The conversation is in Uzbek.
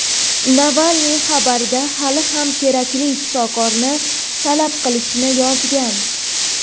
Navalniy xabarda hali ham kerakli shifokorni talab qilishini yozgan.